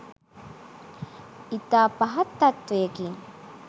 ඉතා පහත් තත්ත්වයකි.